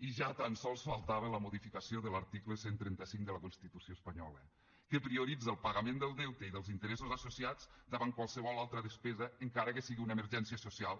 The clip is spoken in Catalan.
i ja tan sols faltava la modificació de l’article cent i trenta cinc de la constitució espanyola que prioritza el pagament del deute i dels interessos associats davant qualsevol altra despesa encara que sigui una emergència social